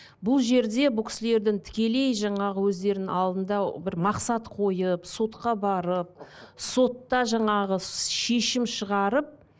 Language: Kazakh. бұл жерде бұл кісілердің тікелей жаңағы өздерінің алдында бір мақсат қойып сотқа барып сотта жаңағы шешім шығарып